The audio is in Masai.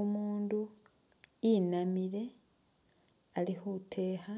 Umundu inamile ali khutekha